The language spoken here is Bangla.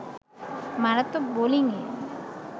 মারাত্মক বোলিংয়ে